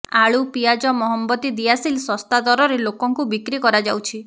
ଆଳୁ ପିଆଜ ମହମବତି ଦିଆସିଲ ଶସ୍ତା ଦରରେ ଲୋକଙ୍କୁ ବିକ୍ରି କରାଯାଉଛି